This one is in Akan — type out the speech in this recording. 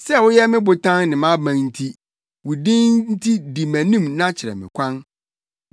Sɛ woyɛ me botan ne mʼaban nti, wo din nti di mʼanim na kyerɛ me kwan.